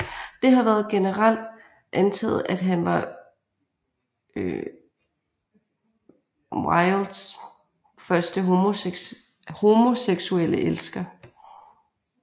Det har været generelt antaget at han var Wildes første homoseksuelle elsker